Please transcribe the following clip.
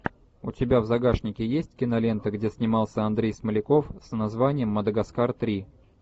у тебя в загашнике есть кинолента где снимался андрей смоляков с названием мадагаскар три